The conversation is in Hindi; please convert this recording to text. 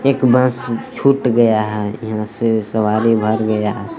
एक बस छूट गया है यहां से सवारी भर गया है।